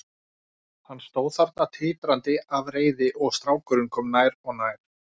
Hann stóð þarna titrandi af reiði og strákurinn kom nær og nær.